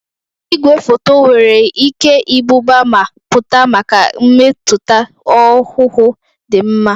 Igwefoto nwere ike ibuba ma pụta maka mmetụta ọhụhụ dị mma.